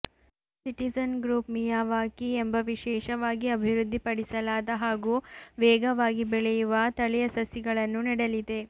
citizen group Miyawaki ಎಂಬ ವಿಶೇಷವಾಗಿ ಅಭಿವೃದ್ಧಿ ಪಡಿಸಲಾದ ಹಾಗೂ ವೇಗವಾಗಿ ಬೆಳೆಯುವ ತಳಿಯ ಸಸಿಗಳನ್ನು ನೆಡಲಿದೆ